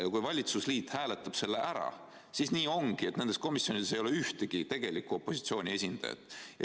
Ja kui valitsusliit hääletab selle ära, siis nii ongi, et nendes komisjonides ei ole ühtegi tegelikku opositsiooni esindajat.